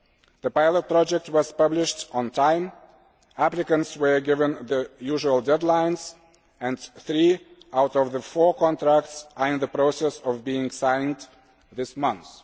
The pilot project was published on time, applicants were given the usual deadlines and three out of the four contracts are in the process of being signed this month.